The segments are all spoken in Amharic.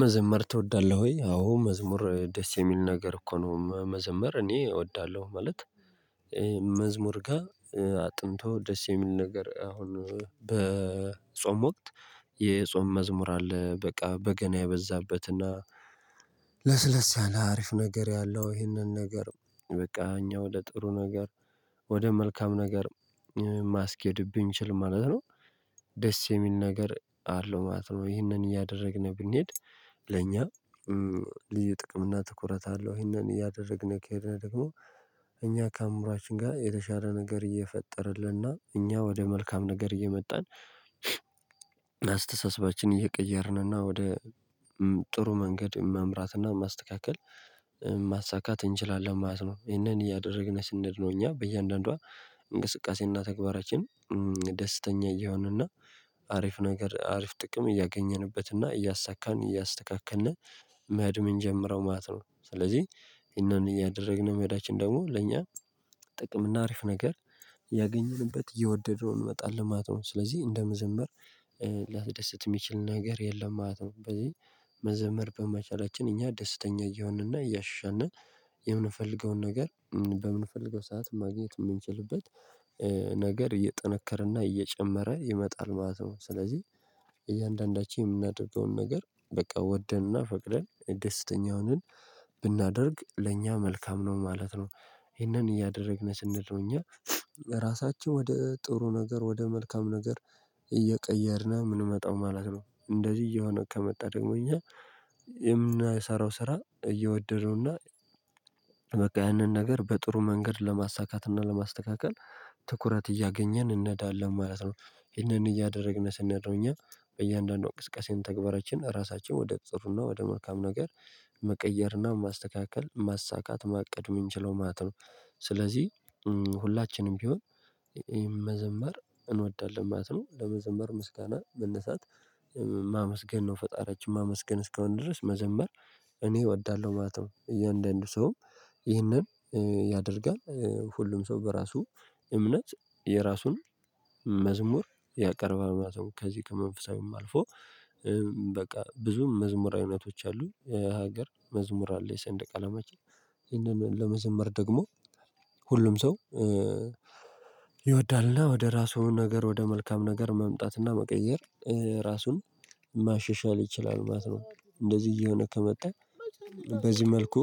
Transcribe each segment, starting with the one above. መዘመር ትወዳለህ ወይ? አዎ መዝሙር ደስ የሚል ነገር እኮ ነው መዘመር እኔ እወዳለሁ ማለት መዝሙር ጋር። አጥንቶ ደስ የሚል ነገር አሁን በጾም ወቅት የጾም መዝሙር አለ በቃ በገና የበዛበትና ለስለስ ያለ አሪፍ ነገር ያለው ይህንን ነገር በቃ እኛ ወደ ጥሩ ነገር ወደ መልካም ነገር ማስኬድ ብንችል ማለት ነው። ደስ የሚል ነገር አለው ማለት ነው። ይህንን እያደረግነ ብንሄድ። ለእኛ ልዩ ጥቅም እና ትኩረት አለው ይሄንን እያደረግነ ከሄድነ ደግሞ እኛ ከአምሯችን ጋር የተሻለ ነገር እየፈጠረልንና እኛ ወደ መልካም ነገር እየመጣን አስተሳሰባችን እየቀየርንና ወደ ጥሩ መንገድ መምራትና ማስተካከል ማሳካት እንችላለን ማለት ነው። ይሄንን እያደረግነ ስንሄድ ነው እኛ በእያንዳንዷ እንቅስቃሴና ተግባራችን ደስተኛ እየሆንንና አሪፍ ነገር አሪፍ ጥቅም እያገኘንበትና እያሳካን እያስተካከልነ መኸድ ምንጀምረው ማለት ነው። ስለዚህ ይሄንን እያደረግነ መሄዳችን ደግሞ ለኛ ጥቅም እና አሪፍ ነገር እያገኘንበት እየወደድነው እንመጣለን ማለት ነው። ስለዚህ እንደ መዘመር ሊያስደሰት የሚችል ነገር የለም ማለት ነው። በዚህ መዘመር በመቻላችን እኛ ደስተኛ እየሆንና እያሻሻልነ የምንፈልገውን ነገር በምንፈልገው ሰዓት ማግኘት የምንችልበት ነገር እየጠነከረና እየጨመረ ይመጣል ማለት ነው። ስለዚህ እያንዳንዳችን የምናደርገውን ነገር በቃ ወደንና ፈቅደን ደስተኛ ሁነን ብናደርግ ለእኛ መልካም ነው ማለት ነው። ይሄንን እያደረግነ ስንሄድ ነው እኛ ራሳችን ወደ ጥሩ ነገር ወደ መልካም ነገር እየቀየርነ የምንመጣው ማለት ነው። እንደዚህ እየሆነ ከመጣ ደግሞ እኛ የምናሰራው ስራ እየወደድነውና በቃ ያንን ነገር በጥሩ መንገድ ለማሳካትና ለማስተካከል ትኩረት እያገኘን እነዳለን ማለት ነው። ይሄንን እያደረግነ ስንሄድ ነው እኛ በእያንዳንዷ እንቅስቃሴም ተግባራችን ራሳችን ወደ ጥሩና ወደ መልካም ነገር መቀየርና ማስተካከል ማሳካት ማቅድ የምንችለው ማለት ነው። ስለዚህ ሁላችንም ቢሆን መዘምር እንወዳለን ማለት ነው ለመዘመር ምስጋና መነሳት ማመስገን ነው ፈጣሪያችን ማመስገን እስከሆነ ድረስ መዘምር እኔ እወዳለሁ ማለት ነው። እያንዳንዱ ሰው ይህንን ያደርጋል ሁሉም ሰው በራሱ እምነት የራሱን መዝሙር ያቀርባል ማለት ነው። ከዚህ ከመንፈሳዊም አልፎ በቃ ብዙም መዝሙር አይነቶች አሉ የሀገር መዝሙር አለ የሰንደቅ አላማችን ይሄንን ለመዘመር ደግሞ ሁሉም ሰው ይወዳልና ወደ ራሱ ነገር ወደ መልካም ነገር መምጣትና መቀየር ራሱን ማሻሻል ይችላል ማለት ነው። እንደዚህ እየሆነ ከመጣ በዚህ መልኩ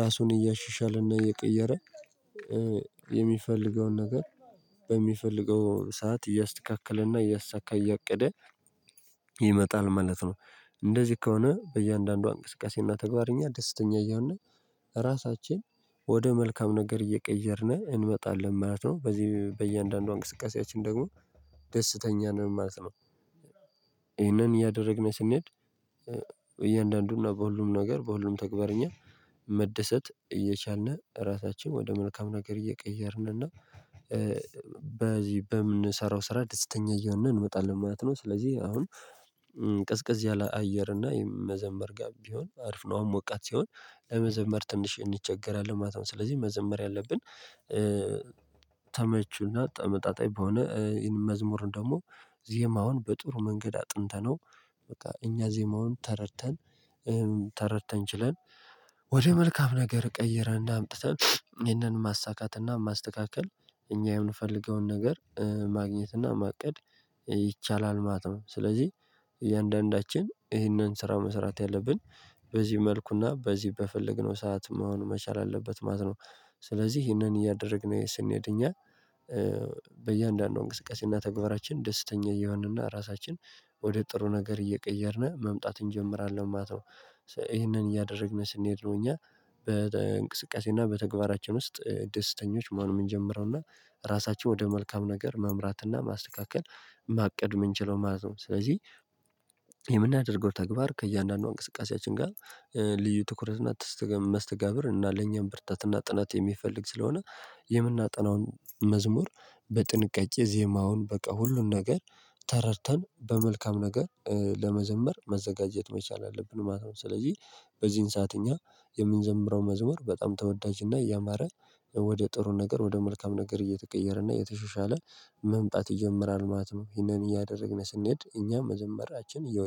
ራሱን እያሻሻለና እየቀየረ የሚፈልገውን ነገር በሚፈልገው ሰዓት እያስተካከለና እያሳካ እያቀደ ይመጣል ማለት ነው። እንደዚህ ከሆነ በእያንዳንዷ እንቅስቃሴና ተግባር እኛ ደስተኛ እየሆነ ራሳችን ወደ መልካም ነገር እየቀየርነ እንመጣለን ማለት ነው። በዚህ በእያንዳንዷ እንቅስቃሴያችን ደግሞ ደስተኛ ነን ማለት ነው። ይሄንን እያደረግነ ስንሄድ እያንዳንዱን እና በሁሉም ነገር በሁሉም ተግባርኛ መደሰት እየቻልነ ራሳችን ወደ መልካም ነገር እየቀየርን እና በዚህ በምንሰራው ስራ ደስተኛ እየሆነ እንመጣለን ማለት ነው። ስለዚህ አሁን ቀዝቀዝ ያለ አየር እና የመዘመር ጋር ቢሆን አሪፍ ነው አሁን ሞቃት ሲሆን ለመዘመር ትንሽ እንቸገራለን ማለት ነው። ስለዚህ መዘመር ያለብን ተመችና ተመጣጣኝ በሆነ ይሄንን መዝሙር ደግሞ ዜማውን በጥሩ መንገድ አጥንተነው በቃ እኛ ዜማውን ተረድተን ተረድተን ችለን ወደ መልካም ነገር ቀይረን እና አምጥተን ይህንን ማሳካት እና ማስተካከል እኛ የምንፈልገውን ነገር ማግኘትና ማቀድ ይቻላል ማለት ነው። ስለዚህ እያንዳንዳችን ይህንን ስራ መስራት ያለብን በዚህ መልኩና በዚህ በፈለግነው ሰዓት መሆን መቻል አለበት ማለት ነው። ስለዚህ ይሄንን እያደረግነ ስንሄድ እኛ በእያንዳንዱ እንቅስቃሴና ተግባራችን ደስተኛ እየሆንንና ራሳችን ወደ ጥሩ ነገር እየቀየርነ መምጣት እንጀምራለን ማለት ነው። ይሄንን እያደረግነ ስንሄድ ነው እኛ በእንቅስቃሴ እና በተግባራችን ውስጥ ደስተኞች መሆን ምንጀምረውና ራሳችን ወደ መልካም ነገር መምራትና ማስተካከል ማቀድ የምንችለው ማለት ነው። ስለዚህ የምናደርገው ተግባር ከእያንዳንዶ እንቅስቃሴያችን ጋር ልዩ ትኩረት እና መስተጋብር እና ለኛም ብርታት እና ጥናት የሚፈልግ ስለሆነ የምናጠናውን መዝሙር በጥንቃቄ ዜማውን በቃ ሁሉን ነገር ተረድተን በመልካም ነገር ለመዘመር መዘጋጀት መቻል አለብን ማለት ነው። ስለዚህ በዚህን ሰዓት እኛ የምንዘምረው መዝሙር በጣም ተወዳጅና እያማረ ወደ ጥሩ ነገር ወደ መልካም ነገር እየተቀየረና እየተሻሻለ መምጣት ይጀምራል ማለት ነው። ይሄንን እያደረግነ ስንሄድ እኛም መዘምራችን እየወ